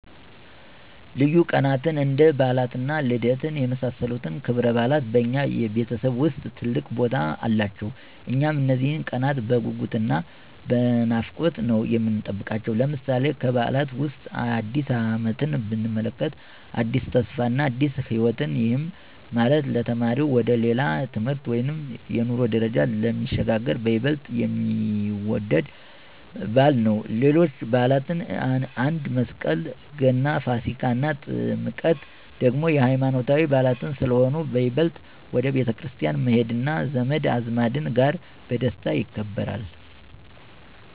ልዩ ቀናትን እንደ በዓላት እና ልደት የመሳሰሉት ክብረበዓላት በእኛ ቤተሰብ ውስጥ ትልቅ ቦታ አላቸው። እኛም እነዚህን ቀናት በጉጉት እና በናፍቆት ነው የምንጠብቃቸው። ለምሳሌ፦ ከበዓላት ዉስጥ አዲስ አመትን ብንመለከት አዲስ ተስፋ እና አዲስ ህይወትን፤ ይሄም ማለት ለተማሪው ወደ ሌላ የትምህርት ወይም የኑሮ ደረጃ ስለሚሸጋገር በይበልጥ የሚወደድ በዓል ነው። ሌሎችም በዓላት አንደ፦ መስቀል፣ ገና፣ ፋሲካ እና ጥምቀት ደግሞ የሃይማኖታዊ በዓላት ስለሆኑ በይበልጥ ወደ ቤተክርስቲያን በመሄድ እና ዘመድ አዝማድ ጋር በደስታ ይከበራል።